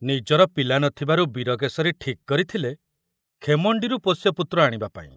ନିଜର ପିଲା ନଥିବାରୁ ବୀରକେଶରୀ ଠିକ କରିଥିଲେ ଖେମଣ୍ଡିରୁ ପୋଷ୍ୟପୁତ୍ର ଆଣିବାପାଇଁ।